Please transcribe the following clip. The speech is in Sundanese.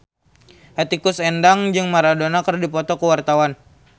Hetty Koes Endang jeung Maradona keur dipoto ku wartawan